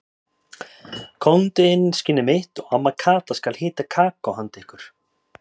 Komdu inn skinnið mitt og amma Kata skal hita kakó handa ykkur.